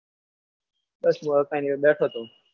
બસ એવું કંઈ નહી બેઠો હતું.